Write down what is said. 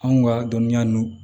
Anw ka dɔnniya ninnu